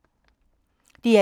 DR1